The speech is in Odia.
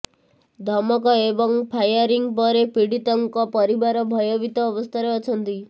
ଧମକ ଏବଂ ଫାୟାରିଂ ପରେ ପୀଡ଼ିତଙ୍କ ପରିବାର ଭୟଭୀତ ଅବସ୍ଥାରେ ଅଛନ୍ତି